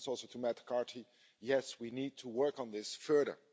This also to Matt Carthy yes, we need to work on this further.